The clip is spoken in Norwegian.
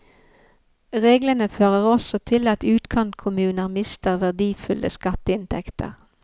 Reglene fører også til at utkantkommuner mister verdifulle skatteinntekter.